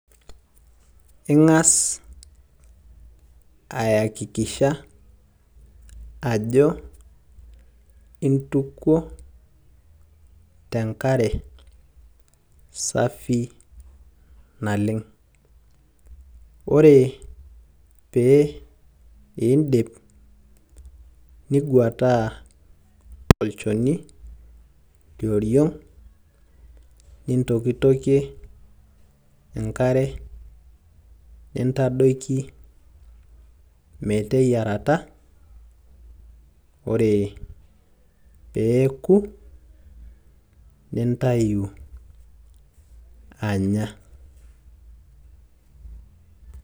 ing'as ayakikisha ajo intukuo tenkare safi naleng'.ore pee iidip, ning'uataa olchoni lionriong'.nintokitokie enkare nintadoki meteyiarata. ore pee eku nintayu anya.